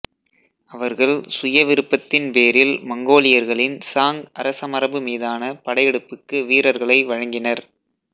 அவர்கள் சுய விருப்பத்தின் பேரில் மங்கோலியர்களின் சாங் அரசமரபு மீதான படையெடுப்புக்கு வீரர்களை வழங்கினர்